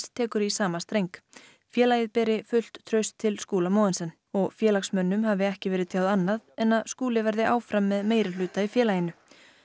tekur í sama streng félagið beri fullt traust til Skúla Mogensen og félagsmönnum hafi ekki verið tjáð annað en að Skúli verði áfram með meirihluta í félaginu